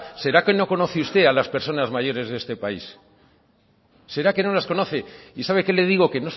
será que no conoce usted a las personas mayores de este país será que no las conoce y sabe qué le digo que